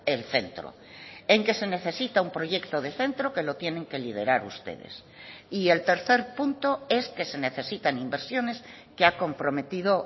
el centro en que se necesita un proyecto de centro que lo tienen que liderar ustedes y el tercer punto es que se necesitan inversiones que ha comprometido